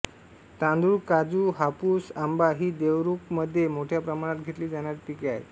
तांदूळकाजूहापूस आंबा ही देवरूखमध्ये मोठ्या प्रमाणात घेतली जाणारी पिके आहेत